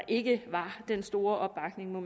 ikke var den store opbakning